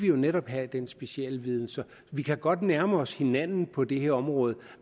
jo netop have den specialviden så vi kan godt nærme os hinanden på det her område